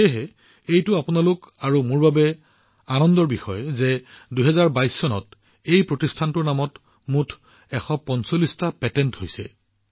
আৰু আমাৰ বাবে আনন্দ আৰু গৌৰৱৰ বিষয় হৈছে যে ২০২২ চনত এই প্ৰতিষ্ঠানটোৰ নামত মুঠ ১৪৫ টা পেটেন্ট হৈছে